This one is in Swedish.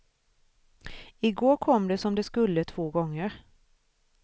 I går kom det som det skulle två gånger.